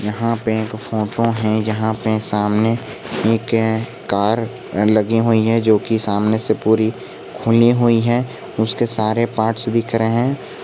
यहां पे एक फोटो है जहां पे सामने एक कार लगी हुई है जो कि सामने से पूरी खुली हुई है उसके सारे पार्ट्स दिख रहे हैं।